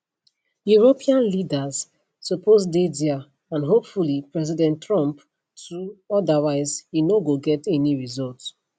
european leaders suppose dey dia and hopefully president trump too otherwise e no go get any result